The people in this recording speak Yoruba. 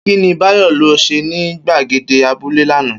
Kí ni Báyò lo̩ s̩e ní gbàgede abúlé lánàá?